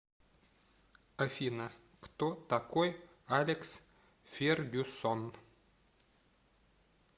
афина кто такой алекс фергюсон